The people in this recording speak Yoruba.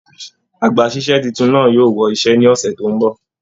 Àgbàsísẹ̀ títún náà yóò wọ iṣẹ ní ọsẹ tó n bọ.